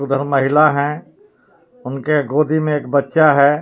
उधर महिला है उनके गोदी में एक बच्चा है.